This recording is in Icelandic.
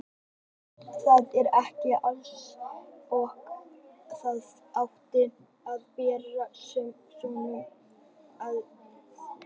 Það var ekki allt eins og það átti að vera við svona kringumstæður.